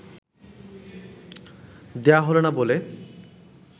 দেওয়া হল না বলে